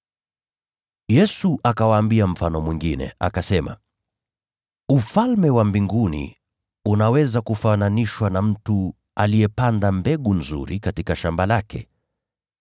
Yesu akawaambia mfano mwingine, akasema: “Ufalme wa Mbinguni unaweza kufananishwa na mtu aliyepanda mbegu nzuri katika shamba lake.